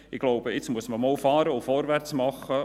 Ich glaube, nun muss man einmal fahren und vorwärtsmachen.